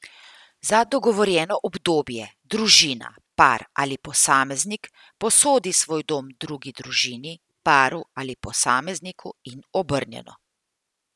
Za dogovorjeno obdobje družina, par ali posameznik posodi svoj dom drugi družini, paru ali posamezniku in obrnjeno.